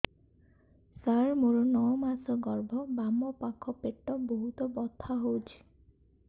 ସାର ମୋର ନଅ ମାସ ଗର୍ଭ ବାମପାଖ ପେଟ ବହୁତ ବଥା ହଉଚି